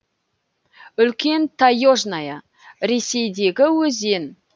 үлкен таежная ресейдегі өзен